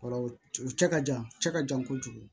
O kɔrɔ u cɛ ka jan cɛ ka jan kojugu